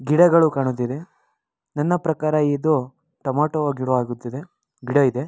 ಗಿಡಗಳು ಕಾಣುತ್ತಿದೆ ನನ್ನ ಪ್ರಕಾರ ಇದು ಟೊಮೇಟೊ ಗಿಡವಾಗುತ್ತಿದೆ ಗಿಡ ಇದೆ.